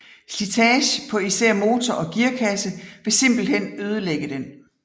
Slitagen på især motor og gearkasse ville simpelthen ødelægge den